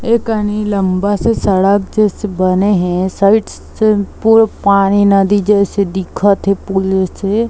ये कनि लम्बा से सड़क जइसे बने हे साइड से पूल पानी नदी जइसे दिखत हे पुल से--